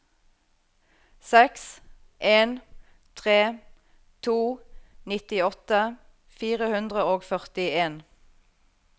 seks en tre to nittiåtte fire hundre og førtien